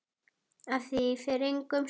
Af því fer engum sögum.